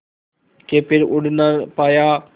के फिर उड़ ना पाया